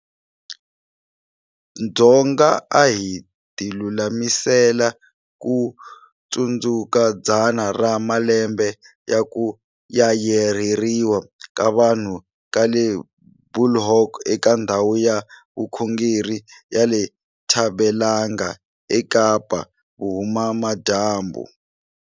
Dzonga a hi tilulamisela ku tsundzuka dzana ra malembe ya ku Yayarheriwa ka vanhu ka le Bulhoek eka ndhawu ya vukhongeri ya le Ntabelanga eKapa-Vuhumadyambu.